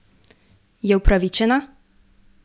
Je upravičena?